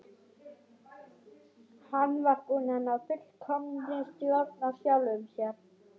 Hann var búinn að ná fullkominni stjórn á sjálfum sér.